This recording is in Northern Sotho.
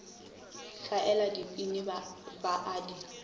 hlaela dibini ba a di